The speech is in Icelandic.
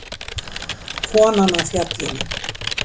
Konan á Fjallinu.